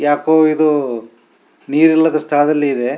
ಯಾಕೋ ಇದು ನೀರಿಲ್ಲದ ಸ್ಥಳದಲ್ಲಿ ಇದೆ.